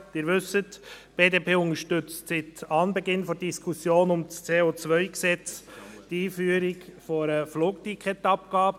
Sie wissen, die BDP unterstützt seit Anbeginn der Diskussion um das CO-Gesetz die Einführung einer Flugticketabgabe.